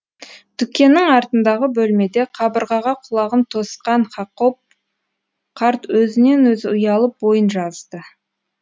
дүкеннің артындағы бөлмеде қабырғаға құлағын тосқан хакоб қарт өзінен өзі ұялып бойын жазды